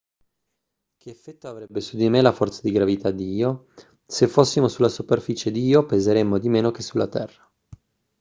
che effetto avrebbe su di me la forza di gravità di io se fossimo sulla superficie di io peseremmo di meno che sulla terra